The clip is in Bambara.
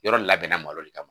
Yɔrɔ in labɛnna malo le kama